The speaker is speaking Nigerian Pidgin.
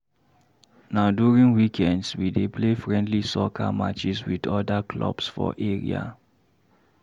Na during weekends, we dey play friendly soccer matches with other clubs for area.